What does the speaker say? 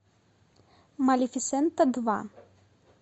малефисента два